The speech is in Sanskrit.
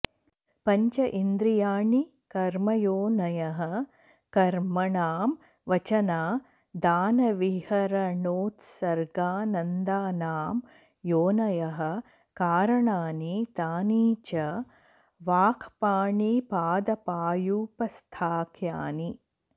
पञ्च इन्द्रियाणि कर्मयोनयः कर्मणां वचनादानविहरणोत्सर्गानन्दानां योनयः कारणानि तानि च वाक्पाणिपादपायूपस्थाख्यानि